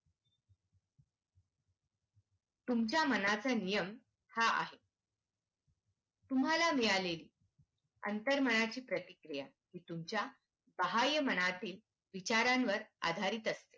तुमच्या मनाचा नियम हा आहे तुम्हाला मिळालेली अंतर्मनाची प्रतिक्रिया तुमच्या साहाय्य मनातील विचारांवर आधारित असते.